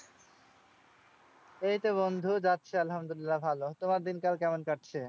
এইতো বন্ধু যাচ্ছে আলহামদুল্লিয়াহ ভালো। তোমার দিনকাল কেমন কাটছে?